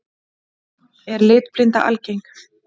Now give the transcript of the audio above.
Er litblinda algeng?